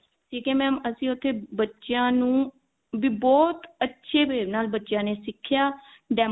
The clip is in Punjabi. ਠੀਕ ਹੈ mam ਅਸੀਂ ਉੱਥੇ ਬੱਚਿਆਂ ਨੂੰ ਵੀ ਬਹੁਤ ਅੱਛੇ way ਨਾਲ ਬੱਚਿਆਂ ਨੇ ਸਿਖਿਆ demo